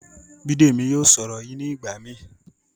Bidemi yóò sọ ọrọ yíì nigbamii.